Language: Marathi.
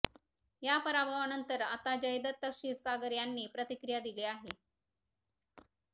या पराभवानंतर आता जयदत्त क्षीरसागर यांनी प्रतिक्रिया दिली आहे